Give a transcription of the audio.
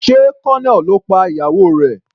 Sé Colonel ló pa ìyàwó rẹ̀.